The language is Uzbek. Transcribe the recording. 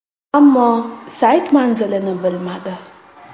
Ammo sayt manzilini bilmadi.